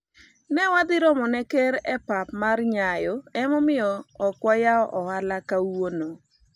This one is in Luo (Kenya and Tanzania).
ne wadhi romo ne ker e pap mar nyayo emomiyo ok wayawo ohala kawuono